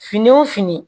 Fini wo fini